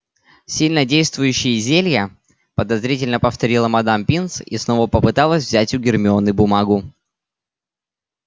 сильнодействующие зелья подозрительно повторила мадам пинс и снова попыталась взять у гермионы бумагу